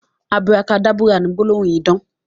Aburakadábúrà ni gbólóhùn idán